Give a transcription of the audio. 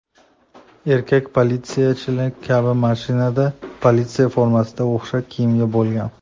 Erkak politsiyachilarniki kabi mashinada, politsiya formasiga o‘xshash kiyimda bo‘lgan.